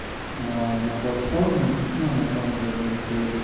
на платформе ну на том же олимтрейде